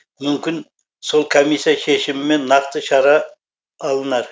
мүмкін сол комиссия шешімімен нақты шара алынар